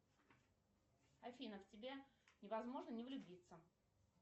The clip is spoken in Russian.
афина в тебя невозможно не влюбиться